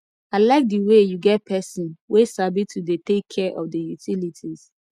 i like the way you get person wey sabi to dey take care of the utilities